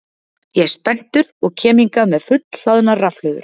Ég er spenntur og kem hingað með fullhlaðnar rafhlöður.